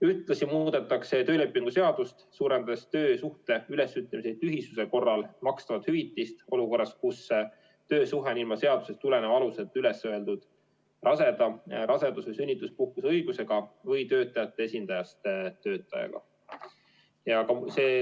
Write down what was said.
Ühtlasi muudetakse töölepingu seadust, suurendades töösuhte ülesütlemise tühisuse korral makstavat hüvitist olukorras, kus töösuhe on ilma seadusest tuleneva aluseta üles öeldud raseda, rasedus- või sünnituspuhkuse õigusega või töötajate esindajast töötajaga.